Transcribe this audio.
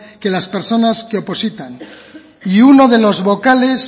que las personas que opositan y uno de los vocales